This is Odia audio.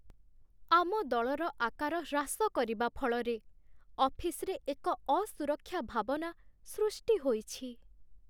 ଆମ ଦଳର ଆକାର ହ୍ରାସ କରିବା ଫଳରେ ଅଫିସରେ ଏକ ଅସୁରକ୍ଷା ଭାବନା ସୃଷ୍ଟି ହୋଇଛି।